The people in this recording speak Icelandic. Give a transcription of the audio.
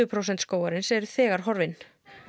prósent skógarins eru þegar horfin